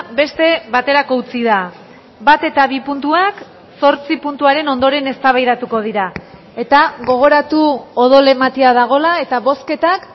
beste baterako utzi da bat eta bi puntuak zortzi puntuaren ondoren eztabaidatuko dira eta gogoratu odol ematea dagoela eta bozketak